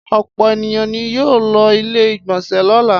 Ọ̀pọ̀ ènìyàn ni yóò lo ilé-ìgbọnsẹ̀ lọ́la.